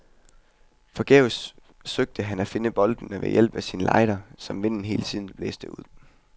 Forgæves søgte han at finde boltene ved hjælp af sin ligther, som vinden hele tiden blæste ud.